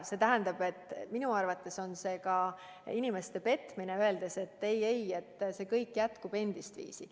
See tähendab, et minu arvates oleks see ka inimeste petmine, kui me ütlesime, et ei‑ei, kõik jätkub endistviisi.